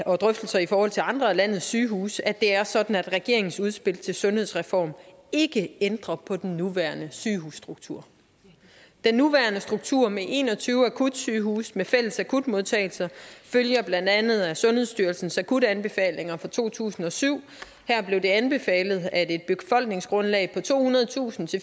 og drøftelser i forhold til andre af landets sygehuse at det er sådan at regeringens udspil til sundhedsreform ikke ændrer på den nuværende sygehusstruktur den nuværende struktur med en og tyve akutsygehuse med fælles akutmodtagelser følger blandt andet af sundhedsstyrelsens akutanbefalinger fra to tusind og syv her blev det anbefalet at et befolkningsgrundlag på tohundredetusind